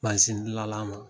Mansindilanla ma